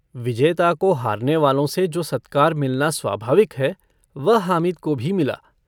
विजेता को हारनेवालों से जो सत्कार मिलना स्वाभाविक है वह हामिद को भी मिला।